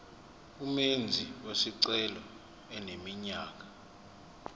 umenzi wesicelo eneminyaka